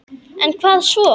En hvað svo?